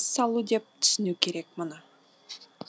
салу деп түсіну керек мұны